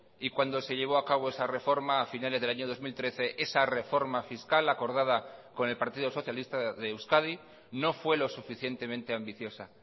y cuando se llevo a cabo esa reforma a finales del año dos mil trece esa reforma fiscal la acordada con el partido socialista de euskadi no fue lo suficientemente ambiciosa